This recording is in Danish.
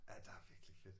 Ja der er virkelig fedt